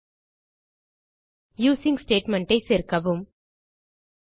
include the using statement ஐ சேர்க்கவும்